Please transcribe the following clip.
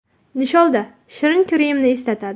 Nisholda shirin kremni eslatadi.